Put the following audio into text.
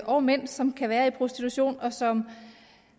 og mænd som kan være i prostitution og som